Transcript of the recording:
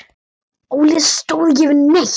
Óli stóð ekki við neitt.